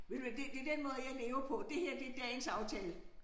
Ved du hvad det det den måde jeg lever på det her det dagens aftale